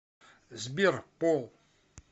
сбер пол